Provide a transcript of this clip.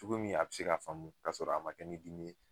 Cogo min a be se ka faamu ka sɔrɔ a ma kɛ ni dimi ye.